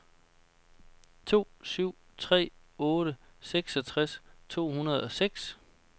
to syv tre otte seksogtres to hundrede og seks